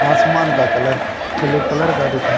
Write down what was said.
आसमान का colour blue colour का दिखा--